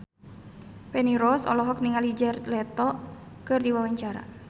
Feni Rose olohok ningali Jared Leto keur diwawancara